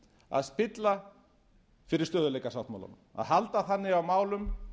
að spilla fyrir stöðugleikasáttmálanum að halda þannig á málum